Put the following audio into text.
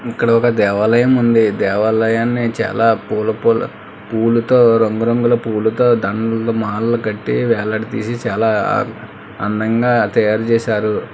ఇక్కడ ఒక దేవాలయం ఉంది దేవాలయాన్ని చాలా పూల పూల పూలుతో రంగురంగుల పూలుతో దండలు మాలలు కట్టి వేలాడదీసి చాలా అందంగా తయారు చేశారు.